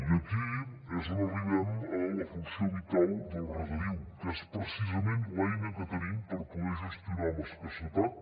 i aquí és on arribem a la funció vital del regadiu que és precisament l’eina que tenim per poder gestionar amb escassetat